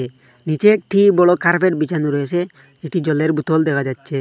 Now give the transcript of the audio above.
নীচে একটি বড় কার্পেট বিছানো রয়েছে একটি জলের বোতল দেখা যাচ্ছে।